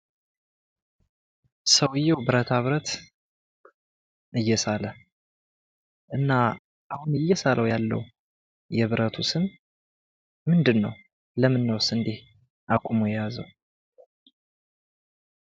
ሰውየው ብረታብረት እየሳለ እና አሁን እየሳለው ያለው የብረቱ ስም ምንድን ?ለምንድን ነው እንድህስ አቁሞ የያዘው?